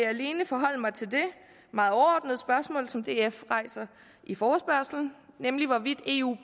alene forholde mig til det meget overordnede spørgsmål som df rejser i forespørgslen nemlig hvorvidt eu